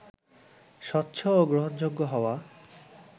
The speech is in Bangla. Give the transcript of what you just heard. স্বচ্ছ ও গ্রহণযোগ্য হওয়া